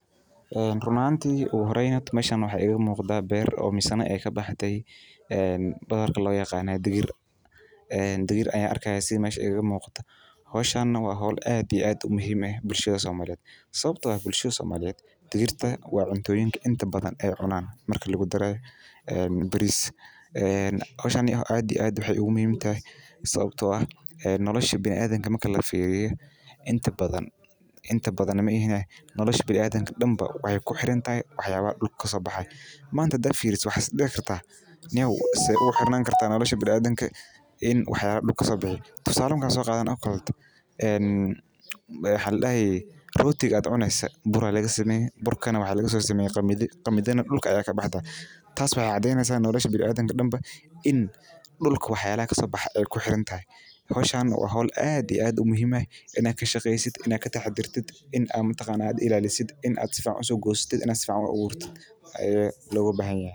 Run ahaanti ugu horeyn meesha horta waxaa iiga muuqda beer oo lagu beere badarka digirta waxeey wanagsan tahay sait ayeey muhiim utahay bulshada dexdeeda sababta oo ah waxeey ledahay faaidoyin badan oo somaliyeed ayaa laga helaa hilib mida kowaad waa daqtarka dadka sacideyni haayo midka labaad waa talaalka talalada joogtada ah.